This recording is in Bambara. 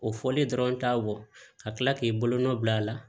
O fɔlen dɔrɔn t'a bɔ ka tila k'i bolonɔ bila a la